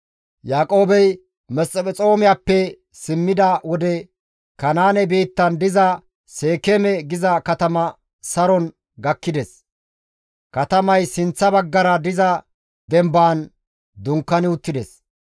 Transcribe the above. Yaaqoobey Mesphexoomiyappe simmida wode Kanaane biittan diza Seekeeme giza katama saron gakkides; katamays sinththa baggara diza dembaan dunkaani uttides.